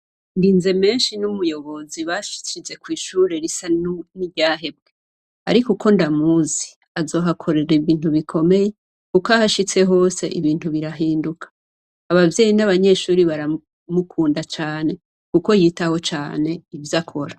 Ndinzemenshi n' umuyobozi bashize kwishure risa niryahebwe, arik' uko ndamuzi, azohakorer' ibintu bikomeye kuk' ahashitse hos' ibintu birahinduka, abavyeyi n' abanyeshure baramukunda cane kuko yitaho cane ivyakora.